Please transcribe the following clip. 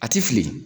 A ti fili